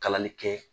Kalanni kɛ